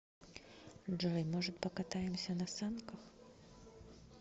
джой может покатаемся на санках